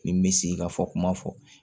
Nin bɛ sigi ka fɔ kuma fɔ